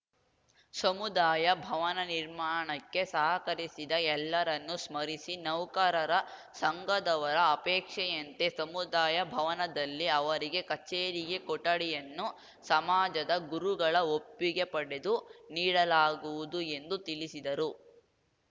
ಸಮುದಾಯ ಭವನ ನಿರ್ಮಾಣಕ್ಕೆ ಸಹಕರಿಸಿದ ಎಲ್ಲರನ್ನು ಸ್ಮರಿಸಿ ನೌಕರರ ಸಂಘದವರ ಅಪೇಕ್ಷೆಯಂತೆ ಸಮುದಾಯ ಭವನದಲ್ಲಿ ಅವರಿಗೆ ಕಚೇರಿಗೆ ಕೊಠಡಿಯನ್ನು ಸಮಾಜದ ಗುರುಗಳ ಒಪ್ಪಿಗೆ ಪಡೆದು ನೀಡಲಾಗುವುದು ಎಂದು ತಿಳಿಸಿದರು